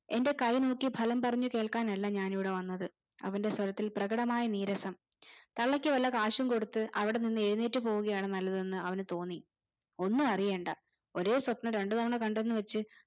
എന്റെ കൈ നോക്കി ഫലം പറഞ്ഞ് കേൾക്കാനല്ല ഞാൻ ഇവിടെ വന്നത് അവന്റെ സ്വരത്തിൽ പ്രകടമായ നീരസം തള്ളക് വല്ല കാശും കൊടുത്ത് അവിടെ നിന്ന് എഴുനേറ്റു പോവൂകയാണ് നല്ലതെന്നു അവന് തോന്നി ഒന്നും അറിയണ്ടേ ഒരേ സ്വപ്‌നം രണ്ടു തവണ കണ്ടെന്നു വെച്ച്